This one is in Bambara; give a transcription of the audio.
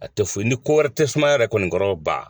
A tɛ foyi ni ko wɛrɛ tɛ sumaya yɛrɛ kɔni kɔrɔ ban.